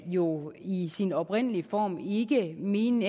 jo i sin oprindelige form ikke ment